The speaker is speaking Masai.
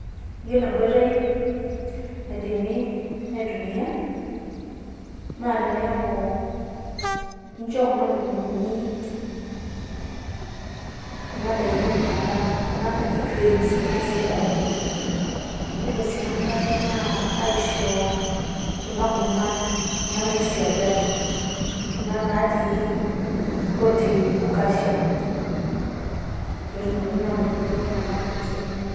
Yiolo enkoitoi naidimi aitumia naa teneaku incho kuna lukunguni kuna daiki, enaa enkano kuna naji greens netii sii irpaek. Yiolo sii enkae naa aisho kuna kurman kuna naisigai kuna natii protein o calcium pee etumoki naa aanoto iltung`anak ilmosor kumok.